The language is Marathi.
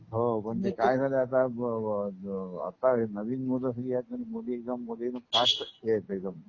हो पण ते काय झालाय आता की आता नवीन मुलं ही आहेत अजून मुलीं ही मुलींमध्ये फास्ट आहेत एकदम. ह